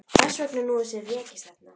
Þess vegna er nú þessi rekistefna.